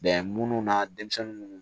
Bɛn minnu na denmisɛnninw